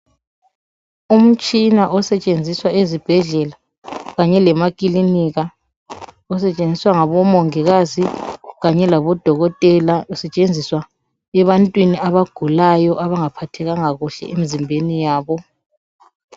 Umtshina osetshenziswa ezibhedlela kanye lemakilinika, usetshenziswa ngabomongikazi kanye labodokotela ebantwini abagulayo abangaphathekanga kuhle emizimbeni yabo.